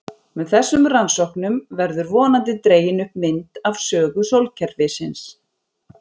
Með þessum rannsóknum verður vonandi dregin upp mynd af sögu sólkerfisins.